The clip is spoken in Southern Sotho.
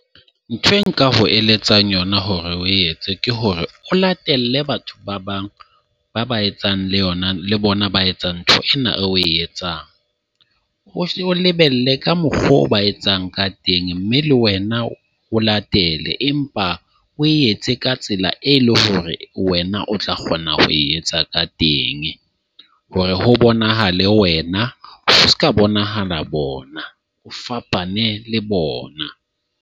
Ntho e nka go eletsang yona hore o etse ke hore o latele batho ba bang ba ba etsang le yona le bona ba etsa ntho ena eo o e etsang. O lebelle ka mokgwa ba etsang ka teng. Mme le wena o latele empa o etse ka tsela, e leng hore wena o tla kgona ho e etsa ka teng. Hore ho bonahale wena, ho seka bonahala bona. O fapane le bona.